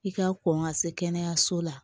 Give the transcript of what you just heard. I ka kɔn ka se kɛnɛyaso la